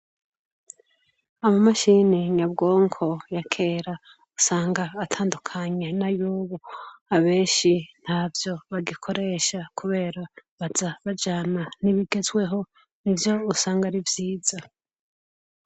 Abamashini nyabwonko yakera usanga atandukanya na y'ubu abenshi nta vyo bagikoresha, kubera baza bajana ntibigezweho ni vyo usanga arivyiza.